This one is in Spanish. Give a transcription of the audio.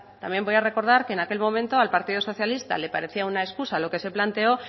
también voy a recordar que en aquel momento al partido socialista le parecía una escusa lo que se planteó